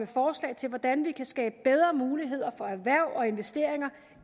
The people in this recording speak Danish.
forslag til hvordan vi kan skabe bedre muligheder for erhverv og investeringer